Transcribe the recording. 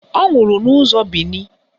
Ọ nwụrụ n'ụzọ Bini